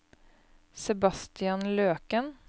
Sebastian Løken